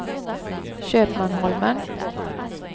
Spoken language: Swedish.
Köpmanholmen